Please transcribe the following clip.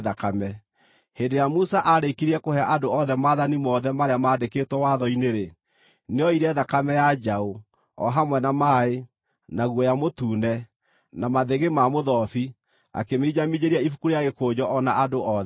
Hĩndĩ ĩrĩa Musa aarĩkirie kũhe andũ othe maathani mothe marĩa maandĩkĩtwo watho-inĩ-rĩ, nĩoire thakame ya njaũ, o hamwe na maaĩ, na guoya mũtune, na mathĩgĩ ma mũthobi akĩminjaminjĩria ibuku rĩa gĩkũnjo o na andũ othe.